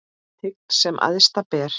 Tign sem æðsta ber.